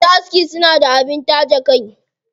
Masu aski suna da abin taje kai.